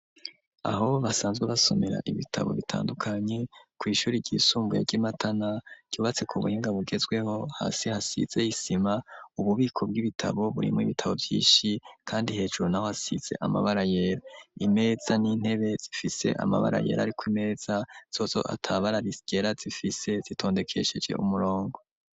Aho basanzwe basomera ibitabo bitandukanye kw'ishuri ryisumbuya ry'imatana ryubatse ku muhinga bugezweho hasi hasizey isima ububiko bw'ibitabo burimwo ibitabo vyishi, kandi hejuru na ho hasize amabara yera imeza n'intebe zifise amabara yera, ariko imeza zozo atabara risigera zifise se sitondekesheje umuronge.